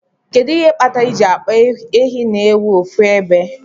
Kedu ihe kpatar iji akpa ehi na ewu ofu ebe?